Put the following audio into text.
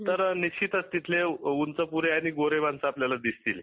तर निश्चितच तिथले उंचपुरे आणि गोरे माणस दिसतील